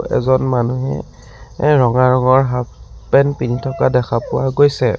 এজন মানুহে এ ৰঙা ৰঙৰ হাফ পেন্ট পিন্ধি থকা দেখা পোৱা গৈছে।